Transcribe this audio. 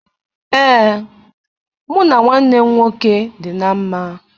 Ee, mụ na nwanne m nwoke dị na mma